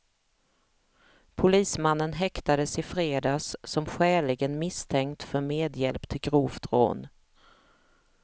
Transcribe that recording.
Polismannen häktades i fredags som skäligen misstänkt för medhjälp till grovt rån.